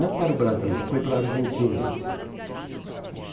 Não para o Brasil, foi para a Argentina.